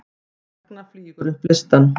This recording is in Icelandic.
Ragna flýgur upp listann